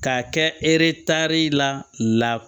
K'a kɛ eretar la